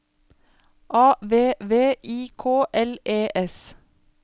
A V V I K L E S